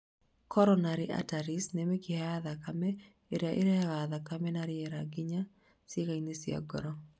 Coronary arteries nĩ mĩkiha ya thakame ĩrĩa ĩrehaga thakame na rĩera nginya ciĩga-inĩ cia ngoro